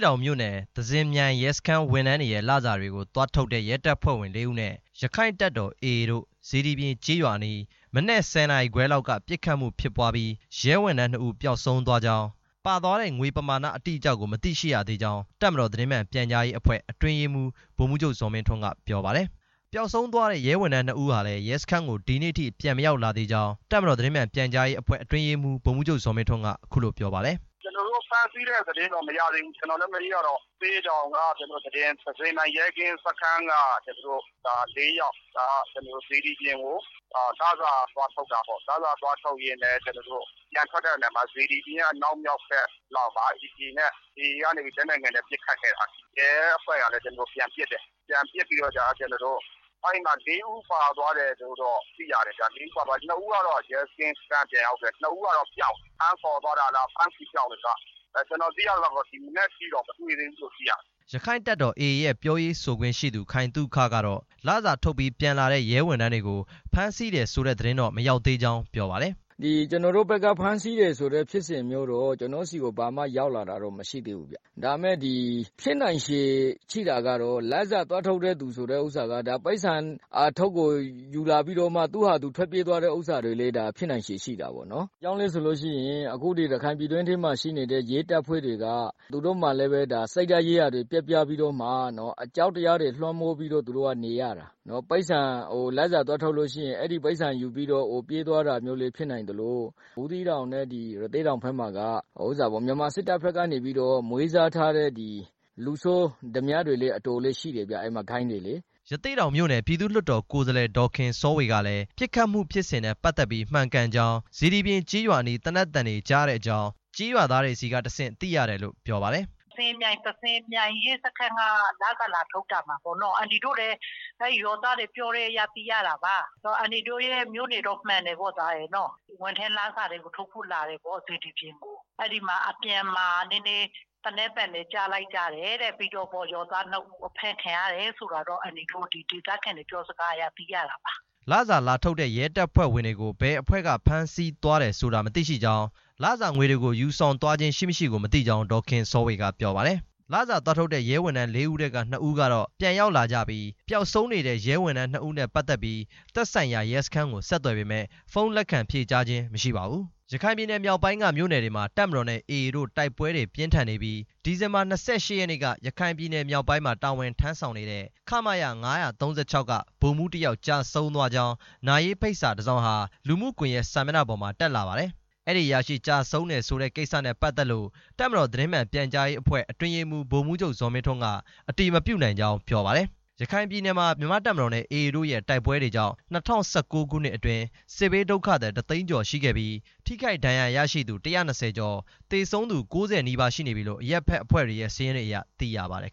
တောင်မြို့နယ် သဇင်မြိုင် ရဲစခန်းဝန်ထမ်းတွေရဲ့ လစာတွေကို သွားထုတ်တဲ့ ရဲတပ်ဖွဲ့ဝင် လေးဦးနဲ့ ရက္ခိုင့်တပ်တော် AA တို့ စေတီပြင်ကျေးရွာအနီး မနက် ၁၀ နာရီခွဲလောက်က ပစ်ခတ်မှုဖြစ်ပွားပြီး ရဲဝန်ထမ်း နှစ်ဦး ပျောက်ဆုံးသွားကြောင်း၊ ပါသွားတဲ့ ငွေပမာဏ အတိအကျကို မသိရှိရသေးကြောင်း တပ်မတော် သတင်းမှန်ပြန်ကြားရေးအဖွဲ့ အတွင်းရေးမှူး ဗိုလ်မှူးချုပ် ဇော်မင်းထွန်းက ပြောပါတယ်။ ပျောက်ဆုံးသွားတဲ့ ရဲဝန်ထမ်း နှစ်ဦးဟာလည်း ရဲစခန်းကိုဒီနေ့ထိ ပြန်မရောက်လာသေးကြောင်း တပ်မတော် သတင်းမှန်ပြန်ကြားရေးအဖွဲ့ အတွင်းရေးမှူး ဗိုလ်မှူးချုပ် ဇော်မင်းထွန်းက ပြောပါတယ်။ “ကျတော်တို့ ဖမ်းဆီးတဲ့ သတင်းတော့ မရသေးဘူး မနေ့ကတော့ ရသေ့တောင်က သတင်းသဇင်မြိုင် ရဲကင်းစခန်းက လေးယောက် စေတီပြင်ကို လစာသွားထုတ်တာပေါ့ လစာသွားထုတ်ရင်းနဲ့ ပြန်ထွက်တဲ့ နေရာမှာ စေတီပြင်ရဲ့အနောက်မြောက်ဘက်လောက်မှာ AA ကနေပြီး လက်နက်ငယ်နဲ့ ပစ်ခတ်ခဲ့တယ် ရဲအဖွဲ့ကလည်း ပြန်ပစ်တယ် ပြန်ပစ်ပြီးတော့ကျတော့ လေးဦး ပါသွားတယ်လို့တော့ သိရတယ်ဗျ နှစ် ဦးကတော့ ရဲကင်းစခန်း ပြန်ရောက်ခဲ့ပြီး နှစ်ဦးကတော့ ပျောက်နေတယ် ဖမ်းခေါ်သွားတာလား ကျတော် သိရသလောက်တော့ ဒီမနက်ထိတော့ မတွေ့သေးဘူးလို့ သိရတယ်” ရက္ခိုင့်တပ်တော် AA ရဲ့ ပြောရေးဆိုခွင့်ရှိသူ ခိုင်သုခ ကတော့ လစာထုတ်ပြီး ပြန်လာတဲ့ ရဲဝန်ထမ်းတွေကို ဖမ်းဆီးတယ်ဆိုတဲ့ သတင်းတော့ မရောက်သေးကြောင်း ပြောပါတယ်။ “ကျတော်တို့ဘက်က ဖမ်းဆီးတယ်ဆိုတဲ့ ဖြစ်စဉ်မျိုးတော့ ကျတော့်ဆီကို ဘာမှရောက်လာတာတော့ မရှိသေးဘူး ဒါမယ့် ဖြစ်နိုင်ချေရှိတာကတော့ လစာသွားထုတ်သူဆိုတဲ့ဟာက အထုတ်ကိုယူလာပြီး တော့မှ သူ့ဟာသူထွက်ပြေးသွားတာတွေလည်း ဖြစ်နိုင်ချေရှိတာပေါ့ ဘာကြောင့်လဲဆိုလို့ရှိရင် ရခိုင် ပြည်တွင်းထဲမှာ ရှိနေတဲ့ ရဲတပ်ဖွဲ့တွေက သူတို့မှာလည်း စိတ်ဓာတ်ရေးရာတွေ ပျက်ပြားပြီးတော့မှ အကြောက်တရားတွေ လွှမ်းမိုးပြီးတော့ နေရတာ လစာသွားထုတ်လို့ရှိရင် အဲဒီပိုက်ဆံ ယူပြီးတော့ ပြေးသွားတာလည်း ဖြစ်နိုင်သလို ဘူးသီးတောင်နဲ့ ရသေ့တောင်ဘက်မှာက မြန်မာစစ်တပ်ကနေပြီး တော့ မွေးစားထားတဲ့ လူဆိုးဒါးမြတွေလည်း ရှိတယ်ဗျ ဂိုဏ်းတွေလေ” ရသေ့တောင်မြို့နယ် ပြည်သူ့လွှတ်တော် ကိုယ်စားလှယ် ဒေါ်ခင်စောဝေကလည်း ပစ်ခတ်မှုဖြစ်စဉ်နဲ့ ပတ်သက်ပြီး မှန်ကန်ကြောင်း စေတီပြင်ကျေးရွာအနီး သေနတ်သံတွေကြားရတဲ့အကြောင်း ကျေးရွာသားတွေဆီက သိရတယ်လို့ ပြောပါတယ်။ “သဇင်မြိုင်ရဲစခန်းက လစာလာထုတ်တာပေါ့ အန်တီတို့လည်း ရွာသားတွေ ပြောတဲ့အတွက် သိရတာပါ ဝန်ထမ်းလာစာတွေကို ထုတ်ဖို့လာတယ်ပေါ့ စေတီပြင်ကို အဲဒီမှာ အပြန်မှာ နည်းနည်း သေနတ်သံတွေ ကြားလိုက်ကြတယ်တဲ့ ရဲသားနှစ်ဦး ဖမ်းခံရတယ်ဆိုတာတော့ ဒေသခံတွေပြောစကားအရ သိရတာပါ ” လစာလာထုတ်တဲ့ ရဲတပ်ဖွဲ့ဝင်တွေကို ဘယ်အဖွဲ့ကဖမ်းဆီးသွားဆိုတာ မသိရှိကြောင်း လစာငွေတွေကို ယူဆောင်သွားခြင်း ရှိမရှိကို မသိကြောင်း ဒေါ်ခင်စောဝေက ပြောပါတယ်။ လစာသွားထုတ်တဲ့ ရဲဝန်ထမ်း လေးဦးထဲက နှစ်ဦးကတော့ ပြန်ရောက်လာကြပြီး ပျောက်ဆုံးနေတဲ့ ရဲဝန်ထမ်း နှစ်ဦးနဲ့ ပတ်သက်ပြီး သက်ဆိုင်ရာ ရဲစခန်းကို ဆက်သွယ်ပေမယ့် ဖုန်းလက်ခံဖြေကြားခြင်း မရှိပါဘူး။ ရခိုင်ပြည်နယ်မြောက်ပိုင်းက မြို့နယ်တွေမှာ တပ်မတော်နဲ့ AA တို့ တိုက်ပွဲတွေပြင်းထန်နေပြီး ဒီဇင်ဘာ ၂၈ ရက်နေ့က ရခိုင်ပြည်နယ် မြောက်ပိုင်းမှာ တာဝန်ထမ်း ဆောင်နေတဲ့ ခမရ ၅၃၆ က ဗိုလ်မှူး တစ်ယောက် ကျဆုံးသွားကြောင်း နာရေးဖိတ်စာ တစ်စောင်ဟာ လူမှုကွန်ရက်စာမျက်နှာပေါ်မှာ တက်လာပါတယ်။ အဲဒီအရာရှိ ကျဆုံးတယ် ဆိုတဲ့ကိစ္စနဲ့ပတ်သက်လို့ တပ်မတော် သတင်းမှန် ပြန်ကြားရေးအဖွဲ့ အတွင်းရေးမှူး ဗိုလ်မှူးချုပ် ဇော်မင်းထွန်းက အတည်မပြုနိုင်ကြောင်း ပြောပါတယ်။ ရခိုင်ပြည်နယ်မှာ မြန်မာ့တပ်မတော်နဲ့ AA တို့ရဲ့ တိုက်ပွဲတွေကြောင့် ၂၀၁၉ ခုနှစ်အတွင်း စစ်ဘေး ဒုက္ခသည် ၁ သိန်းကျော်ရှိခဲ့ပြီး ထိခိုက်ဒဏ်ရာရှိသူ ၁၂၀ ကျော်၊ သေဆုံးသူ ၉၀ နီးပါးရှိနေပြီလို့ အရပ်ဖက်အဖွဲ့တွေရဲ့ စာရင်းတွေအရ သိရပါတယ်